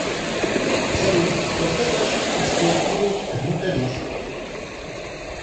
салют когда начали эксплуатировать винторез